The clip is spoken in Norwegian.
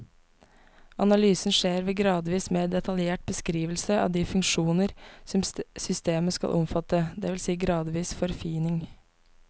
Analysen skjer ved gradvis mer detaljert beskrivelse av de funksjoner systemet skal omfatte, det vil si gradvis forfining.